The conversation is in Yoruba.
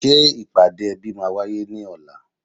Ṣé ìpàdé ẹbí máa wáyé ní ọ̀la